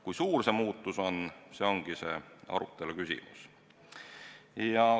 Kui suur see muutus on, see ongi arutelu küsimus.